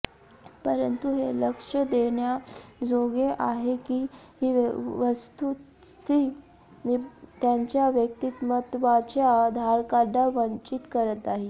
परंतु हे लक्ष देण्याजोगे आहे की ही वस्तुस्थिती त्यांच्या व्यक्तिमत्त्वाच्या धारकांना वंचित करत नाही